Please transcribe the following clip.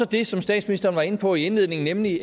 det som statsministeren var inde på i indledningen nemlig